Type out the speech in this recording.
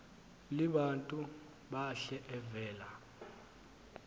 libantu bahle evela